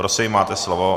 Prosím, máte slovo.